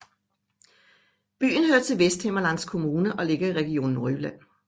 Byen hører til Vesthimmerlands Kommune og ligger i Region Nordjylland